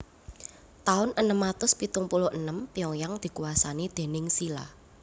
Taun enem atus pitung puluh enem Pyongyang dikuwasani déning Silla